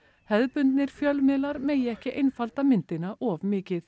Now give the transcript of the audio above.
hefðbundnir fjölmiðlar megi ekki einfaldi myndina of mikið